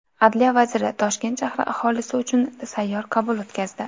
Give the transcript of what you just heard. Adliya vaziri Toshkent shahri aholisi uchun sayyor qabul o‘tkazdi.